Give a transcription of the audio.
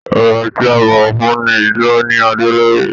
Ọba tí a bọwọ fún ní èyí tó ní adé lórí.